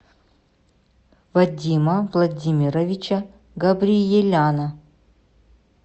вадима владимировича габриеляна